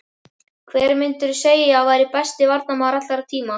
Hver myndirðu segja að væri besti varnarmaður allra tíma?